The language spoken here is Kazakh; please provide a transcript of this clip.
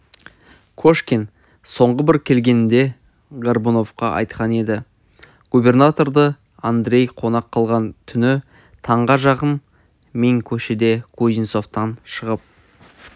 кошкин соңғы бір келгенінде горбуновқа айтқан еді губернаторды андрей қонақ қылған түні таңға жақын мен көшеде кузнецовтан шығып